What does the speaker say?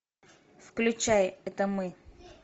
включай это мы